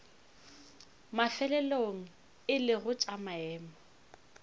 mafelelong e lego tša maemo